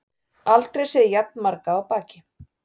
Aldrei séð jafn marga á baki